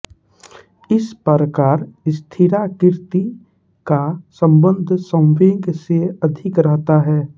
इस प्रकार स्थिराकृति का सम्बन्ध संवेग से अधिक रहता है